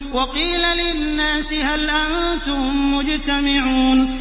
وَقِيلَ لِلنَّاسِ هَلْ أَنتُم مُّجْتَمِعُونَ